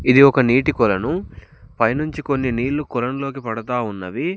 ఇది ఒక నీటి కొలను పైనుంచి కొన్ని నీళ్ళు కొలనులోకి పడతా ఉన్నవి.